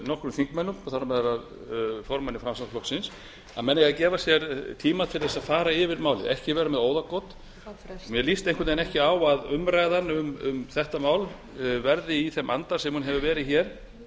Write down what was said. nokkrum þingmönnum þar á meðal formanni framsóknarflokksins að menn eiga að gefa sér tíma til þess að fara yfir málið ekki vera með óðagot mér líst einhvern veginn ekki á að umræðan um þetta mál verði í þeim anda sem hefur verið hér